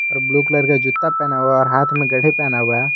Blue colour का जूता पहना हुआ और हाथ में घड़ी पहना हुआ है।